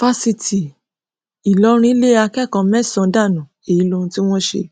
fásitì ìlọrin lé akẹkọọ mẹsànán dànù èyí lóhun tí wọn ṣe